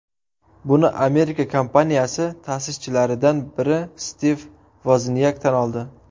Buni Amerika kompaniyasi ta’sischilaridan biri Stiv Voznyak tan oldi.